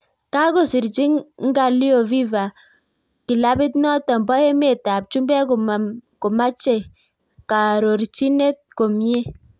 Kakosirchii nga'alio fiva kilapit notok poo emet ap chumbek komachee kaarorichinet komiee